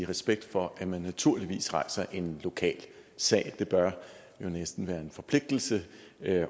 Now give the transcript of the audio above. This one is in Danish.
respekt for at man naturligvis rejser en lokal sag det bør jo næsten være en forpligtelse